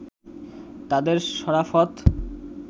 তাঁদের সরাফত